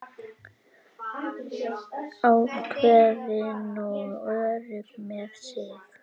Ákveðin og örugg með sig.